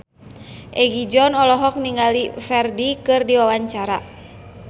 Egi John olohok ningali Ferdge keur diwawancara